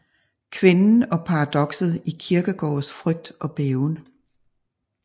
Kvinden og paradokset i Kierkegaards Frygt og Bæven